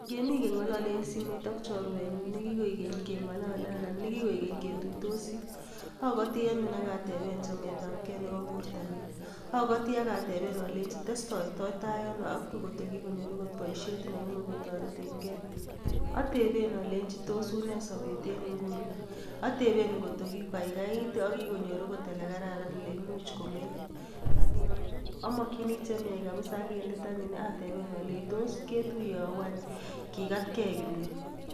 Ngemi keng'olole en simoit ak chorwenyun ne kikoik keny keng'olole anan ne kikoik keny ketuitosi, agoti anyun ak ateben chametabge nebo bortanyin. Agoti ak ateben ale testoito ano kotko kigonyor agot boisiet kotoretenge. Ateben olenji tos unee sobet en nguni, oteben ngot ko kigokaikait agonyor agot ole kararan ole imuch komeny. Amokini che miach kabisa ak en let anyun ateben olenji tos ketuye au any kigatke kimni.